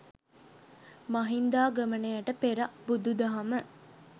මහින්දාගමනයට පෙර බුදු දහම